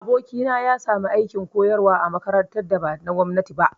Abokina ya sami aikin koyarwa a makarantar da ba na gwamnati ba